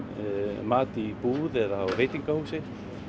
mat í búð eða á veitingahúsi